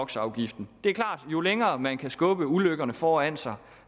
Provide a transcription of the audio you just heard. det er klart at jo længere man kan skubbe ulykkerne foran sig